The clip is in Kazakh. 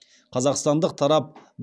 қазақстандық тарап